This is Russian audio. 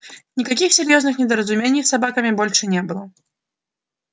никаких серьёзных недоразумений с собаками больше не было